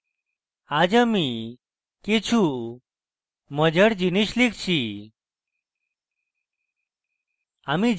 আজ আমি কিছু মজার জিনিস লিখছি